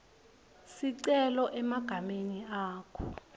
sicelo egameni lakho